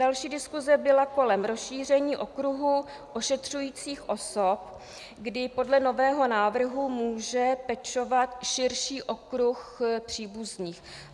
Další diskuse byla kolem rozšíření okruhu ošetřujících osob, kdy podle nového návrhu může pečovat širší okruh příbuzných.